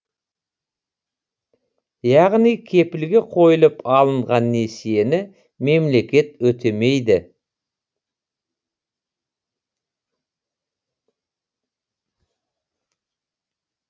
яғни кепілге қойылып алынған несиені мемлекет өтемейді